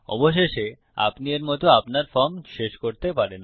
অবশেষে আপনি এর মত আপনার ফর্ম শেষ করতে পারেন